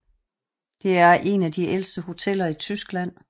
Det er en af de ældste hoteller i Tyskland